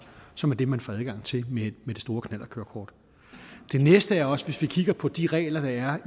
som er det man får adgang til med det store knallertkørekort den næste er også at hvis vi kigger på de regler der er